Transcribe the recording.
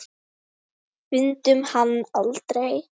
Fundum hann aldrei.